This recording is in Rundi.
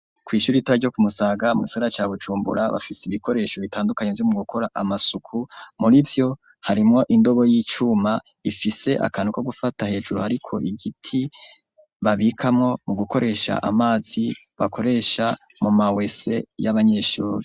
Kw'Ishure ritoya ryo Kumusaga, Mugisagara ca Bujumbura, Ibikoresho bitandukanye vyomugukora Amasuku, Murivyo harimwo indobo yicuma, Akantu kogufata hejuru hariko Agiti, Babikamwo mugukoresha Amazi bakoresha muma wese y'Abanyeshuri.